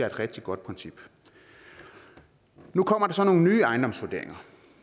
et rigtig godt princip nu kommer der så nogle nye ejendomsvurderinger